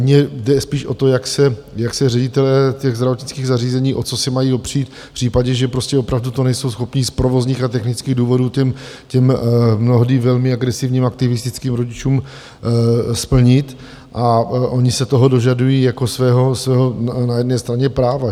Mně jde spíš o to, jak se ředitelé těch zdravotnických zařízení, o co se mají opřít v případě, že opravdu to nejsou schopni z provozních a technických důvodů těm mnohdy velmi agresivním aktivistickým rodičům splnit, a oni se toho dožadují jako svého na jedné straně práva.